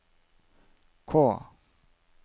K